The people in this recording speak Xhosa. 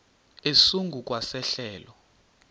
esingu kwa sehlelo